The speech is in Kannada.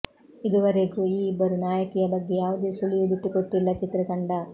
ಇದುವರೆಗೂ ಈ ಇಬ್ಬರು ನಾಯಕಿಯ ಬಗ್ಗೆ ಯಾವುದೆ ಸುಳಿವು ಬಿಟ್ಟುಕೊಟ್ಟಿಲ್ಲ ಚಿತ್ರತಂಡ